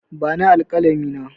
Bani alƙalami na!